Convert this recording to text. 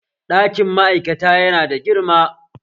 Ɗakin ma'aikata yana da girma